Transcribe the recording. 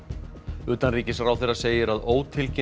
utanríkisráðherra segir að